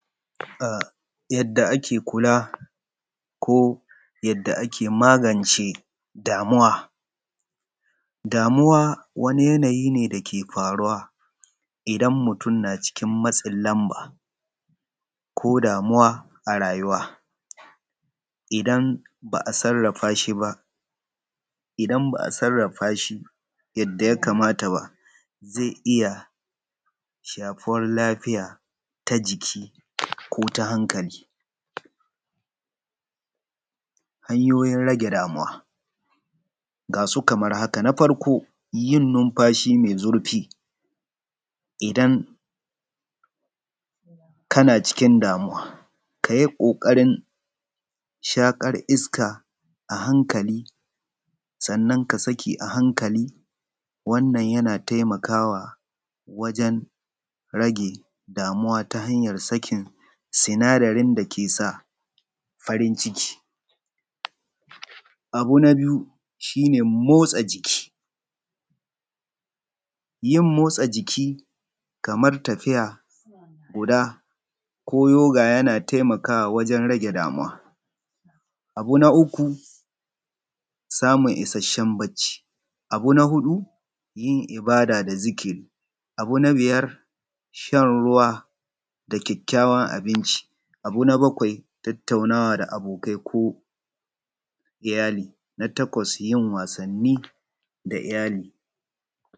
Yadda ake kula ko yadda ake magance damuwa, damuwa wani yanayi ne da yake faruwa idan mutum yana cikin matsin lamba ko damuwa a rayuwa idan ba a sarrafa shi yadda ya kamata ba, zai iya shafar lafiya ta jiki ko ta hankali. Hanyoyin rage damuwa ga su kamar haka na farko yin numfashi mai zurfi idan kana cikin damuwa ka yi ƙoƙarin shaƙar iska a hankali kuma ka saki a hankali wannan yana taimakawa wajen rage damuwa wajen sakin sinadarin ke sa farin ciki. Abu na biyu shi ne motsa jiki, yin motsa jiki kamar tafiya ko yoga yana taimakawa wajen rage damuwa. Abu na uku samun isasshen bacci abu na huɗu yin ibada da zikiri. Abu na biyar shan ruwa da ƙyaƙƙyawar abinci. Abu na bakwai tattaunawa da abokai ko iyali. Abu na takwai yin wasanni da iyali.